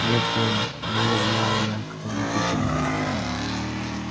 нет мэм не знаю я кто они такие